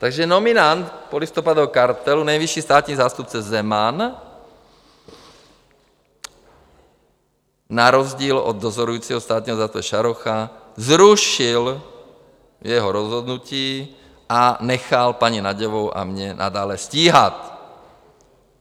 Takže nominant polistopadového kartelu, nejvyšší státní zástupce Zeman na rozdíl od dozorujícího státního zástupce Šarocha zrušil jeho rozhodnutí a nechal paní Nagyovou a mě nadále stíhat.